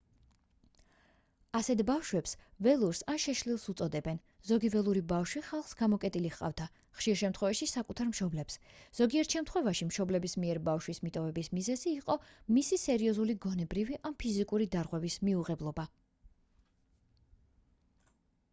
ასეთ ბავშვებს ველურს ან შეშლილს უწოდებენ. ზოგი ველური ბავშვი ხალხს გამოკეტილი ჰყავდა ხშირ შემთხვევაში საკუთარ მშობლებს; ზოგიერთ შემთხვევაში მშობლების მიერ ბავშვის მიტოვების მიზეზი იყო მისი სერიოზული გონებრივი ან ფიზიკური დარღვევის მიუღებლობა